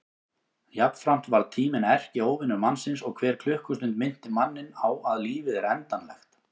Jafnframt varð tíminn erkióvinur mannsins og hver klukkustund minnti manninn á að lífið er endanlegt.